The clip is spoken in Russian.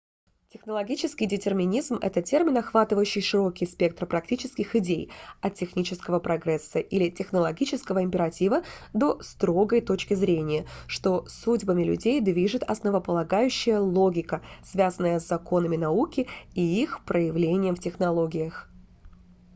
технологический детерминизм это термин охватывающий широкий спектр практических идей от технического прогресса или технологического императива до строгой точки зрения что судьбами людей движет основополагающая логика связанная с законами науки и их проявлением в технологиях